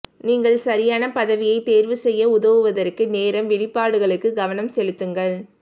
நீங்கள் சரியான பதவியைத் தேர்வு செய்ய உதவுவதற்கு நேரம் வெளிப்பாடுகளுக்கு கவனம் செலுத்துங்கள்